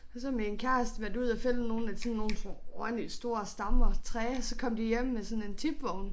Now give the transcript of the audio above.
Og så min kæreste været ude at finde nogle af sådan nogle ordentlig store stammer træ så kom de hjem med sådan en tipvogn